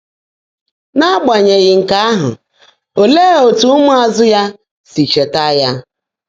N’ágbányèghị́ nkè áhụ́, óleé ótú ụ́mụ́ázụ́ yá sí chèètaá yá?